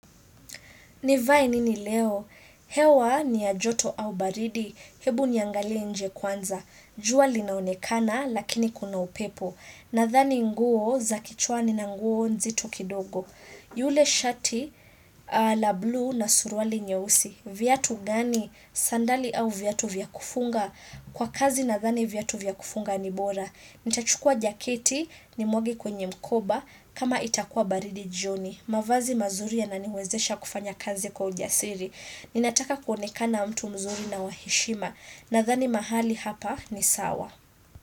Nivae nini leo? Hewa ni ya joto au baridi. Hebu niangalie nje kwanza. Jua linaonekana lakini kuna upepo. Nadhani nguo za kichwani na nguo nzito kidogo. Yule shati la blue na suruali nyeusi. Viatu gani? Sandali au viatu vya kufunga? Kwa kazi nadhani viatu vya kufunga ni bora. Nitachukua jaketi ni mwage kwenye mkoba kama itakua baridi jioni. Mavazi mazuri yana niwezesha kufanya kazi kwa ujasiri. Ninataka kuonekana mtu mzuri na wa heshima. Nadhani mahali hapa ni sawa.